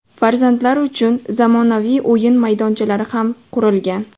Farzandlari uchun zamonaviy o‘yin maydonchalari ham qurilgan.